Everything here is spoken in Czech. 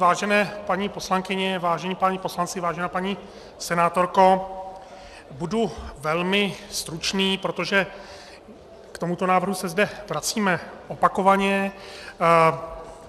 Vážené paní poslankyně, vážení páni poslanci, vážená paní senátorko, budu velmi stručný, protože k tomuto návrhu se zde vracíme opakovaně.